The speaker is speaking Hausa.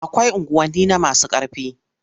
Akwai unguwanni na masu ƙarfi.